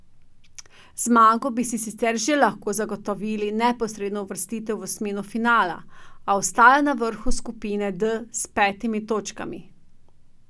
Z zmago bi si sicer že lahko zagotovili neposredno uvrstitev v osmino finala, a ostajajo na vrhu skupine D s petimi točkami.